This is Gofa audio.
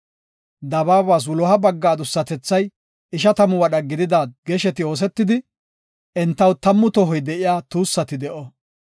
“Dabaabas wuloha bagga adussatethay ishatamu wadha gidida gesheti oosetidi, entaw tammu tohoy de7iya tuussati de7o.